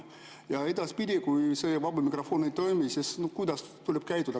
Kuidas edaspidi, kui seda vaba mikrofoni ei toimu, tuleb käituda?